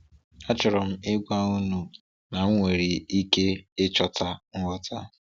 Achọrọ m ịgwa unu na m nwere ike ịchọta ngwọta.